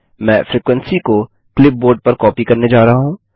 मैं फ्रीक्वेंसी को क्लीपबोर्ड पर कॉपी करने जा रहा हूँ